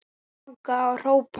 Langaði að hrópa